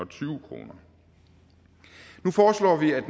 tyve kroner nu foreslår vi at